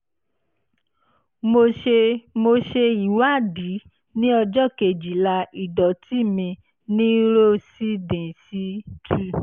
mo ṣe mo ṣe ìwádìí ní ọjọ́ kejìlá ìdọ̀tí mi ní ro sì dín sí two